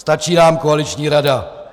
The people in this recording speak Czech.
Stačí nám koaliční rada.